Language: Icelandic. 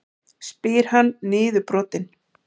spyr hann niðurbrotinn.